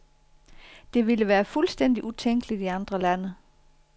Det ville være fuldstændig utænkeligt i andre lande.